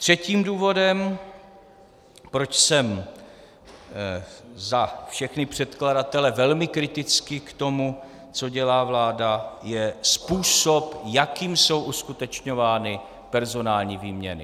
Třetím důvodem, proč jsem za všechny předkladatele velmi kritický k tomu, co dělá vláda, je způsob, jakým jsou uskutečňovány personální výměny.